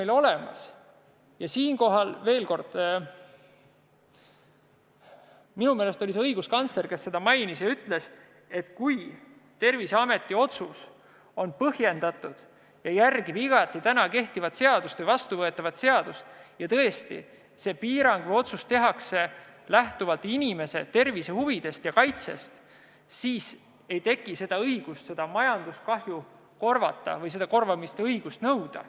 Ja kordan siinkohal – minu meelest oli see õiguskantsler, kes seda ütles –, et kui Terviseameti otsus on põhjendatud ja järgib igati täna kehtivat seadust või vastuvõetavat seadust ja piirang või otsus tehakse lähtuvalt inimese tervise huvidest ja kaitsest, siis ei teki õigust majandusliku kahju korvamist nõuda.